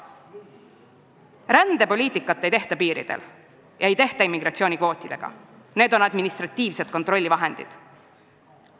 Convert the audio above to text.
Rändepoliitikat ei tehta mitte piiridel ega immigratsioonikvootidega, vaid administratiivsete kontrollivahenditega.